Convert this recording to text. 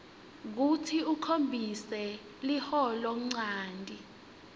kutsi ukhombise liholonchanti